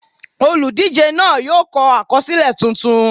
Olùdíje náà yóò kọ àkọsílẹ̀ tuntun.